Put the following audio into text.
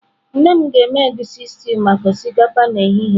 Nne m ga-eme egusi stew maka osikapa n'ehihie a.